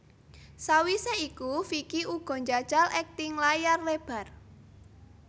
Sawise iku Vicky uga njajal akting layar lebar